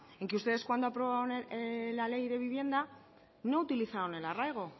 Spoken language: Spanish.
en que ustedes cuando aprobaron la ley de vivienda no utilizaron el arraigo